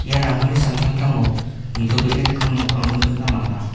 ia ramani samtangtango nitobee rikgimin nokrangko nikna man·a.